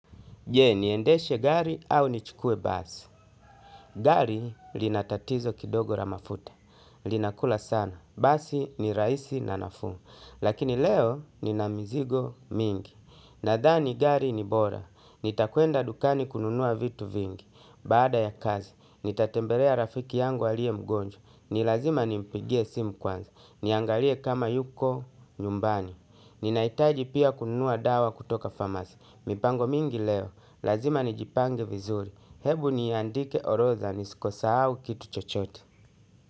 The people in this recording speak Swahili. Je, niendeshe gari au nichukue basi. Gari linatatizo kidogo la mafuta. Linakula sana. Basi ni rahisi na nafuu. Lakini leo nina mizigo mingi. Nadhani gari ni bora. Nitakwenda dukani kununua vitu vingi. Baada ya kazi, nitatembelea rafiki yangu aliye mgonjwa. Nilazima nimpigie simu kwanza. Niangalie kama yuko nyumbani. Ninaitaji pia kununua dawa kutoka pharmacy. Mipango mingi leo. Lazima ni jipange vizuri ebu niandike orodha nisisahau kitu chochote.